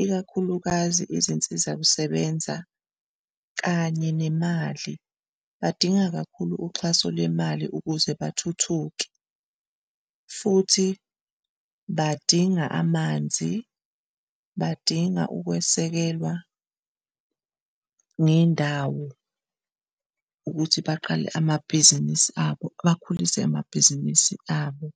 ikakhulukazi izinsiza kusebenza kanye nemali. Badinga kakhulu uxhaso lemali ukuze bathuthuke futhi badinga amanzi, badinga ukwesekelwa ngendawo ukuthi baqale amabhizinisi abo bakhulise amabhizinisi abo.